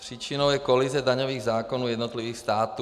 Příčinou je kolize daňových zákonů jednotlivých států.